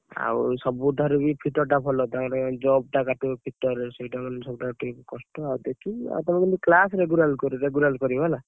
ଆଉ ସବୁ ଠାରୁ ବି fitter ଟା ଭଲ ତାଙ୍କର jug ଟା କାଟିବ fitter ରେ ସେଇଟା ମାନେ ସବୁଠାରୁ ଟିକେ କଷ୍ଟ ଆଉ ସେତିକି ଆଉ ତମେ କିନ୍ତୁ class regular କରିବ ହେଲା।